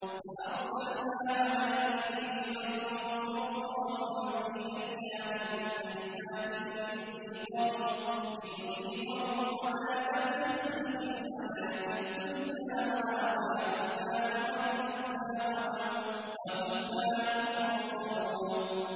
فَأَرْسَلْنَا عَلَيْهِمْ رِيحًا صَرْصَرًا فِي أَيَّامٍ نَّحِسَاتٍ لِّنُذِيقَهُمْ عَذَابَ الْخِزْيِ فِي الْحَيَاةِ الدُّنْيَا ۖ وَلَعَذَابُ الْآخِرَةِ أَخْزَىٰ ۖ وَهُمْ لَا يُنصَرُونَ